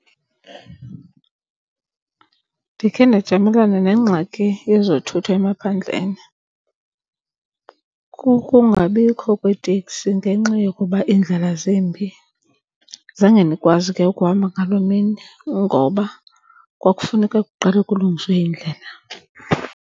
Ndikhe ndajamelana nengxaki yezothutho emaphandleni, kukungabikho kweetekisi ngenxa yokuba iindlela zimbi. Zange ndikwazi ke ukuhamba ngaloo mini ngoba kwakufuneka kuqale kulungiswe iindlela.